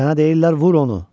Sənə deyirlər vur onu!